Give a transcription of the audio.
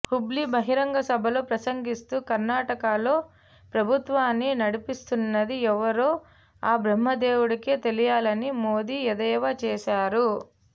హుబ్లీ బహిరంగ సభలో ప్రసంగిస్తూ కర్ణాటకలో ప్రభుత్వాన్ని నడిపిస్తున్నది ఎవరో ఆ బ్రహ్మదేవుడికే తెలియాలని మోదీ ఎద్దేవా చేశారు